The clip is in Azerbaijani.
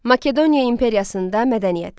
Makedoniya imperiyasında mədəniyyət.